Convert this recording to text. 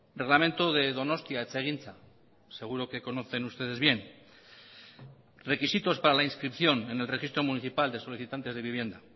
reglamento de donostia etxegintza seguro que conocen ustedes bien requisitos para la inscripción en el registro municipal de solicitantes de vivienda